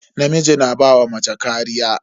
Namiji na ba wa mace kariya.